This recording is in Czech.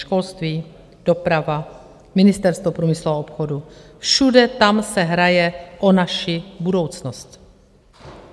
Školství, doprava, Ministerstvo průmyslu a obchodu, všude tam se hraje o naši budoucnost.